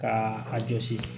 Ka a jɔsi